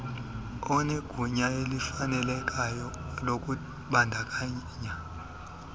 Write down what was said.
onegunya elifunekayo lokubandakanya